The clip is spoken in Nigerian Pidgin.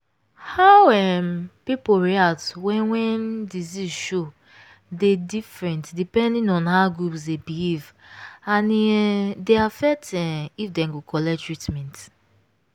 how um people react when when disease show dey different depending on how groups dey behave and e um dey affect um if dem go collect treatment.